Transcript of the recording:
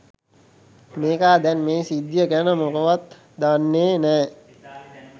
මේකා දැන් මේ සිද්ධිය ගැන මොකවත් දන්නෙ නෑ.